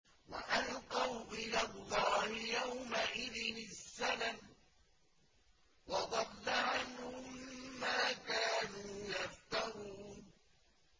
وَأَلْقَوْا إِلَى اللَّهِ يَوْمَئِذٍ السَّلَمَ ۖ وَضَلَّ عَنْهُم مَّا كَانُوا يَفْتَرُونَ